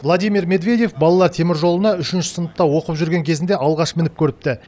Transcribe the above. владимир медведев балалар теміржолына үшінші сыныпта оқып жүрген кезінде алғаш мініп көріпті